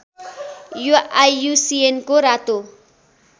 यो आइयुसिएनको रातो